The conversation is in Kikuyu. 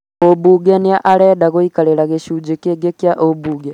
Mũbunge nĩ arenda gũikarĩra gĩcunjĩ kĩngĩ kĩa ũmbunge